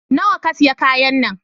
Nawa ka siya kayan nan?